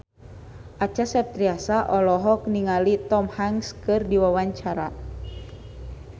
Acha Septriasa olohok ningali Tom Hanks keur diwawancara